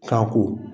Kan ko